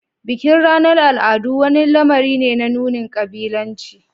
Bikin ranar al'adu wani lamari ne na nunin kabilanci.